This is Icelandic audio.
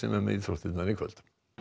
er með íþróttir í kvöld